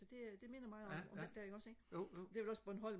det det minder mig om den der ikke også ikke det er vel også bornholm